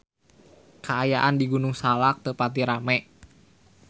Kaayaan di Gunung Salak teu pati rame